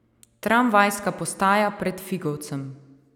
Tramvajska postaja pred Figovcem.